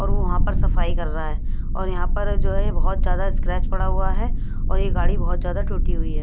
और वो वहाँ पर सफाई कर रहा है और यहाँ पर जो है बहुत ज्यादा स्क्रैच पड़ा हुआ है और ये गाड़ी बहुत ज्यादा टूटी हुई है।